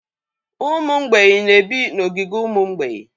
Ụmụ mgbei na-ebi n'ogige ụmụ mgbeị.